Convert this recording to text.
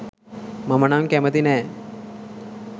මම නම් කැමති නැහැ.